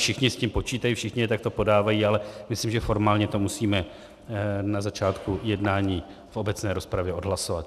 Všichni s tím počítají, všichni je takto podávají, ale myslím, že formálně to musíme na začátku jednání v obecné rozpravě odhlasovat.